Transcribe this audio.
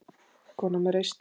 Kona með reisn.